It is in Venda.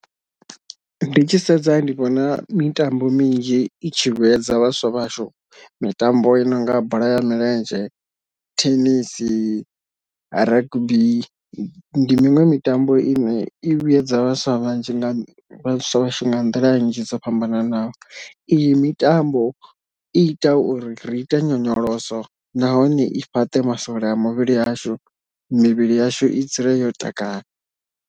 Ndi tshi sedza ndi vhona mitambo minzhi i tshi vhuedza vhaswa vhashu, mitambo i nonga bola ya milenzhe, thenisi, rugby ndi miṅwe mitambo ine i vhuyedza vhaswa vhanzhi nga vhaswa vhashu nga nḓila nnzhi dzo fhambananaho, iyi mitambo i ita uri ri ite nyonyoloso nahone i fhaṱe masole a muvhili yashu mivhili yashu i dzule yo takadza.